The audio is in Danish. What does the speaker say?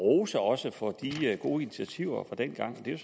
også rose for de gode initiativer fra dengang det